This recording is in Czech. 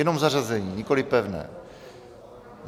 Jenom zařazení, nikoliv pevné.